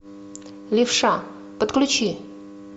левша подключи